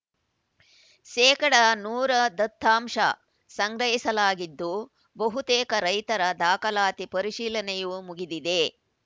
ಶೇಕಡಾ ನೂರು ದತ್ತಾಂಶ ಸಂಗ್ರಹಿಸಲಾಗಿದ್ದು ಬಹುತೇಕ ರೈತರ ದಾಖಲಾತಿ ಪರಿಶೀಲನೆಯೂ ಮುಗಿದಿದೆ